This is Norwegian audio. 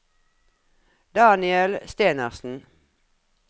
Daniel Stenersen